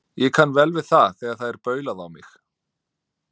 Ég kann vel við það þegar það er baulað á mig.